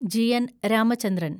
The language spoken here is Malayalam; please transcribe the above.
ജി. എൻ. രാമചന്ദ്രൻ